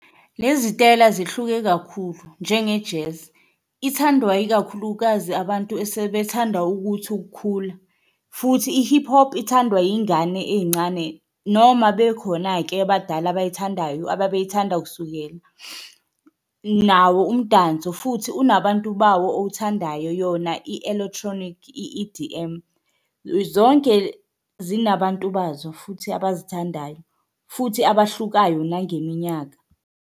Lezi zitayela zihluke kakhulu njenge-jazz ithandwa ikakhulukazi abantu esethandwa ukuthi ukukhula, futhi i-hip-hop ithandwa iyingane eyincane noma bekhona-ke abadala abayithandayo ababeyithanda kusukela. Nawo umdanso futhi unabantu bawo owuthandayo, yona i-electronic, i-E_D_M. Zonke zinabantu bazo futhi abazithandayo, futhi abahlukayo nangeminyaka.